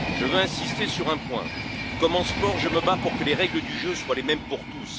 Je veux insister sur un point comme en sport, je me bats pour que les règles du jeu soient les mêmes pour tous.